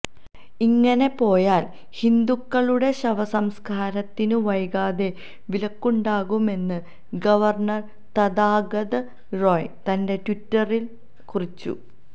ഇങ്ങനെപോയാല് ഹിന്ദുക്കളുടെ ശവസംസ്കാരത്തിനും വൈകാതെ വിലക്കുണ്ടാകുമെന്ന് ഗവര്ണര് തഥാഗത റോയ് തന്റെ ട്വിറ്ററില് കുറിച്ചു